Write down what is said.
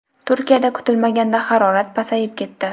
Turkiyada kutilmaganda harorat pasayib ketdi.